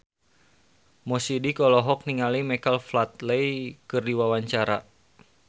Mo Sidik olohok ningali Michael Flatley keur diwawancara